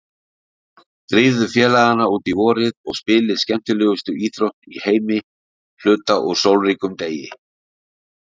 Drífðu félagana út í vorið og spilið skemmtilegustu íþrótt í heimi hluta úr sólríkum degi.